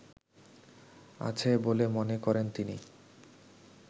আছে বলে মনে করেন তিনি